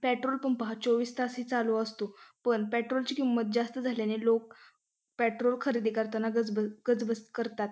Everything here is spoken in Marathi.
पेट्रोल पंप हा चोवीस तास चालू असतो पण पेट्रोल ची किमत जास्त झाल्याने लोक पेट्रोल खरीदी करताना गज गजबज करतात.